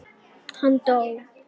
Hann dó.